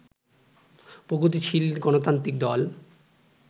প্রগতিশীল গণতান্ত্রিক দল